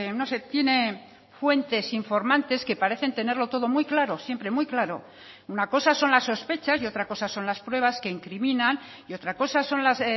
no sé tiene fuentes informantes que parecen tenerlo todo muy claro siempre muy claro una cosa son las sospechas y otra cosa son las pruebas que incriminan y otra cosa son las